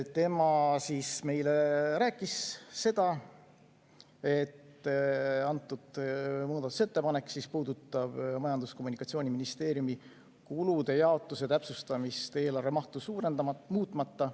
Ta rääkis meile, et see muudatusettepanek puudutab Majandus‑ ja Kommunikatsiooniministeeriumi kulude jaotuse täpsustamist eelarve mahtu muutmata.